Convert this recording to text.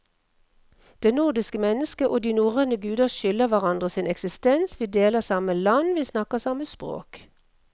Det nordiske mennesket og de norrøne guder skylder hverandre sin eksistens, vi deler samme land, vi snakker samme språk.